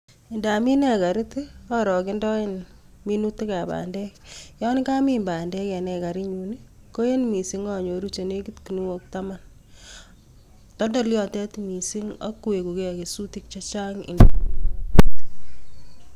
Indamin ekarit arokendoen minuutikab bandek, yon kamin bandek en ekarinyun I,koen missing anyooru chenekit ginuok Taman. Toldol yotet missing ak weguu kesuutik chechang ingemin.